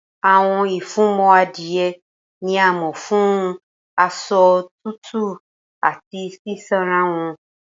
Awọn ifunmọ adie ni a mọ fun asọ tutu ati sisanra wọn.